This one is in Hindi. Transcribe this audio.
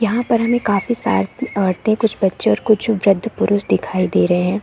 यहाँ पर हमें काफी सारे औरतें कुछ बच्चे और कुछ वृध्द पुरुष दिखाई दे रहै हैं।